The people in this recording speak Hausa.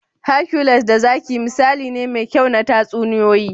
Hercules da zaki misali ne mai kyau na tatsuniyoyi.